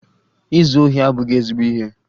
Izu ohi abụghị ezigbo ihe